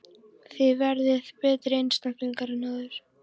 Þið verðið betri einstaklingar en áður!